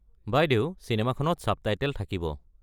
বাইদেউ চিনেমাখনত ছাবটাইটেল থাকিব।